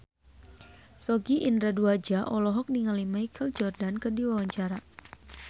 Sogi Indra Duaja olohok ningali Michael Jordan keur diwawancara